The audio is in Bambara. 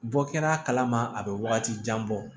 Bɔ kɛra a kalama a bɛ wagati jan bɔ